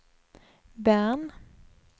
Bern